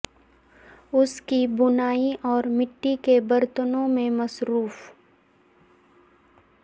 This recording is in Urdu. اس کی بنائی اور مٹی کے برتنوں میں مصروف